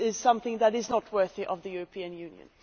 This is something that is not worthy of the European Union.